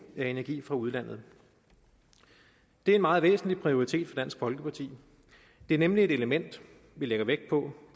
af energi fra udlandet det er en meget væsentlig prioritet for dansk folkeparti det er nemlig et element vi lægger vægt på